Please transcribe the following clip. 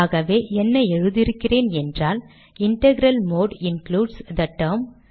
ஆகவே என்ன எழுதி இருக்கிறேன் என்றால் integral mode includes the term